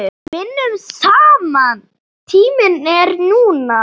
Vinnum saman Tíminn er núna.